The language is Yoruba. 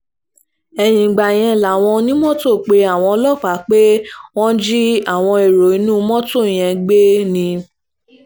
ẹ̀yìn ìgbà yẹn làwọn onímọ́tò pe àwọn ọlọ́pàá pé wọ́n jí àwọn ẹ̀rọ inú mọ́tò yẹn gbé ni